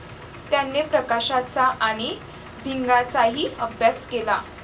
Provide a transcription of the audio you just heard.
त्याने प्रकाशाचा आणि भिंगाचाही अभ्यास केला.